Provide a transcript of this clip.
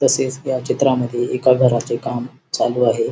तसेच या चित्रामध्ये एका घराचे काम चालू आहे.